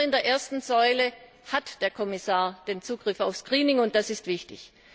Nur in der ersten Säule hat der Kommissar den Zugriff auf das Greening und das ist wichtig.